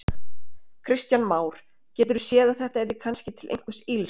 Kristján Már: Geturðu séð að þetta yrði kannski til einhvers ills?